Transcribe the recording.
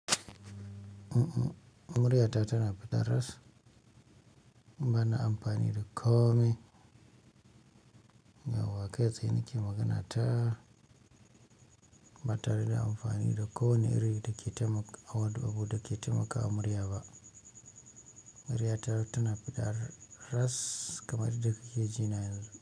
Murya ta tana fita ras, bana amfani da ko me. Yau wa kai tsaye nake magana ta ba tare da amfani da ko ne irin da ke taimakawa murya ba. Murya ta tana fita ras kamar yadda kuke jina yanzu.